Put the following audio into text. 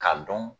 K'a dɔn